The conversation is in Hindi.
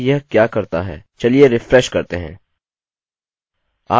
चलिए रिफ्रेश करते हैं आप यहाँ कई अंको को देख सकते हैं